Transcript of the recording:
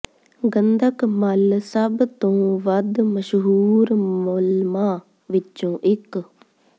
ਗੰਧਕ ਮੱਲ ਸਭ ਤੋਂ ਵੱਧ ਮਸ਼ਹੂਰ ਮਲਮਾਂ ਵਿੱਚੋਂ ਇੱਕ